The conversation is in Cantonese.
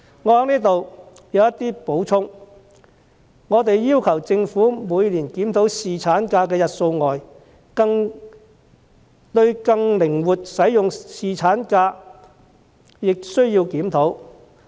我們除要求政府每年檢討侍產假的日數外，亦認為需對更靈活使用侍產假進行檢討。